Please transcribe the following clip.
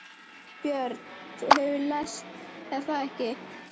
Björn: Þú hefur lést er það ekki?